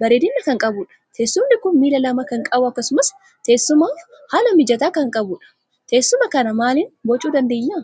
bareedina kan qabudha. Teessummni kun milla lama kan qabu akkasumas teessumaf haala mijata kan qabuudha. Teessuma kana maalin boocu dandeenya?